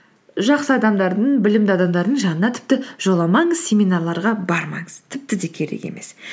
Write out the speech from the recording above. жақсы адамдардың білімді адамдардың жанына тіпті жоламаңыз семинарларға бармаңыз тіпті де керек емес